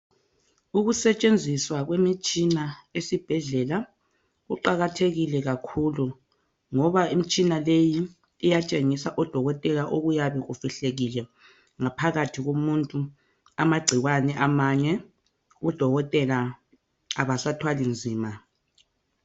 Ukusetshenziswa kwemitshina esibhedlela kuqakathekile kakhulu ngoba imitshina leyi iyatshengisa odokotela okuyabe kufihlekile ngaphakathi komuntu amagcikwane amanye odokotela abasathwali nzima.